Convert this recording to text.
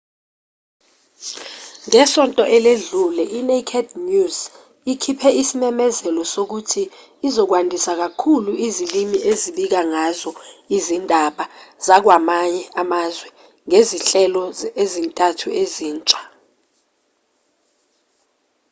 ngesonto eledlule i-naked news ikhiphe isimemezelo sokuthi izokwandisa kakhulu izilimi ebika ngazo izindaba zakwamanye amazwe ngezinhlelo ezintathu ezintsha